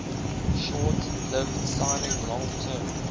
short lived signing long term